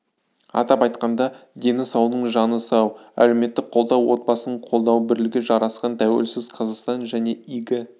атап айтқанда дені саудың жаны сау әлеуметтік қолдау отбасын қолдау бірлігі жарасқан тәуелсіз қазақстан және игі